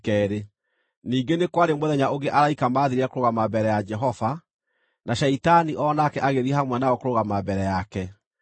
Ningĩ nĩ kwarĩ mũthenya ũngĩ araika maathiire kũrũgama mbere ya Jehova, na Shaitani o nake agĩthiĩ hamwe nao kũrũgama mbere yake.